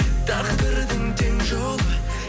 тағдырдың тең жолы